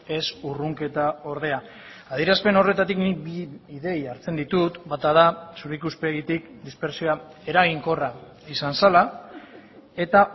ez urrunketa ordea adierazpen horretatik nik bi ideia hartzen ditut bata da zure ikuspegitik dispertsioa eraginkorra izan zela eta